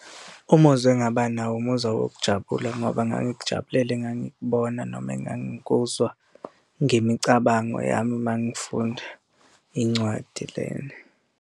Umuzwa engaba nawo umuzwa wokujabula ngoba ngangikujabulele engangikubona noma engangikuzwa ngemicabango yami uma ngifunda incwadi lena.